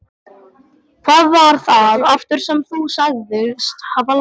Hvað var það aftur sem þú sagðist hafa lært?